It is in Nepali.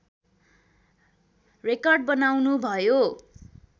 रेकर्ड बनाउनु भयो